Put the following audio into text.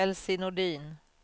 Elsie Nordin